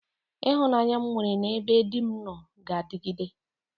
Ịhụnanya m nwere n'ebe di m nọ ga-adịgide.